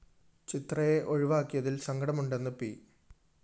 ചിത്രയെ ഒഴിവാക്കിയതില്‍ സങ്കടമുണ്ടെന്ന് പി